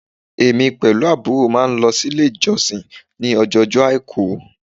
Èmí pẹ̀lú àbúrò máa n lo sílé ìjọsìn ni ọjọ ojó àìkú